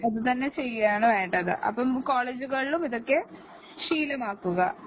അതുതന്നെ ചെയ്‌യുകയാണ് വേണ്ടത് അപ്പോ കോളേജുകളിലും ഇതൊക്ക ശീലമാക്കുക